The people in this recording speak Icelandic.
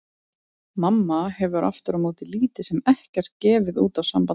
Mamma hefur aftur á móti lítið sem ekkert gefið út á samband þeirra.